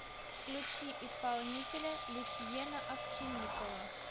включи исполнителя люсьена овчинникова